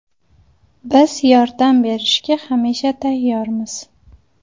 Biz yordam berishga hamisha tayyormiz.